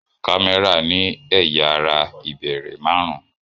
Kámẹ́rà ní ẹ̀yà ara ìbẹ̀rẹ̀ máàrún